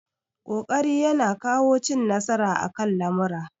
Ƙoƙari ya na kawo cin nasara akan lamura